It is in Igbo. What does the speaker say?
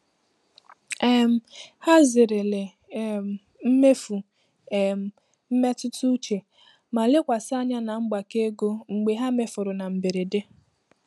um Ha zerele um mmefu um mmetụta uche ma lekwasị anya na mgbake ego mgbe ha mefuru na mberede.